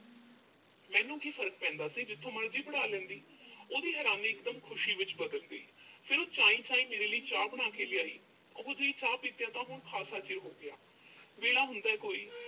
ਮੈਨੂੰ ਕੀ ਫ਼ਰਕ ਪੈਂਦਾ ਸੀ, ਜਿੱਥੋਂ ਮਰਜ਼ੀ ਪੜ੍ਹਾ ਲੈਂਦੀ। ਉਹਦੀ ਹੈਰਾਨੀ ਇਕਦਮ ਖੁਸ਼ੀ ਵਿੱਚ ਬਦਲ ਗਈ। ਫਿਰ ਉਹ ਚਾਈਂ-ਚਾਈਂ ਮੇਰੇ ਲਈ ਚਾਹ ਬਣਾ ਕੇ ਲਿਆਈ। ਓਹੋ ਜਿਹੀ ਚਾਹ ਪੀਤਿਆਂ ਤਾਂ ਹੁਣ ਖਾਸਾ ਚਿਰ ਹੋ ਗਿਆ। ਵੇਲਾ ਹੁੰਦਾ ਕੋਈ।